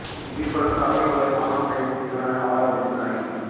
ఇవి కూడా కాకుల వలె మానవ సహిత జీవనాన్ని అవలంభిస్తాయి